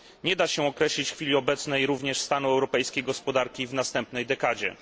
Nie da się określić w chwili obecnej również stanu europejskiej gospodarki w następnej dekadzie.